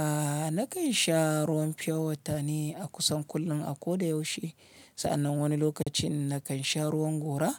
A nakan sha ruwan fiyowata ne a kusan kullum a ko da yaushe. Sa'annan wani lokacin nakan sha ruwan gora